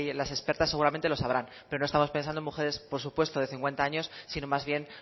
las expertas seguramente lo sabrán pero no estamos pensando en mujeres de cincuenta año sino más bien